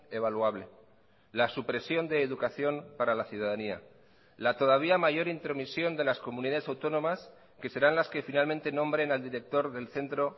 evaluable la supresión de educación para la ciudadanía la todavía mayor intromisión de las comunidades autónomas que serán las que finalmente nombren al director del centro